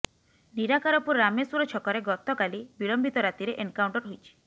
ନିରାକାରପୁର ରାମେଶ୍ୱର ଛକରେ ଗତକାଲି ବିଳମ୍ବିତ ରାତିରେ ଏନକାଉଣ୍ଟର ହୋଇଛି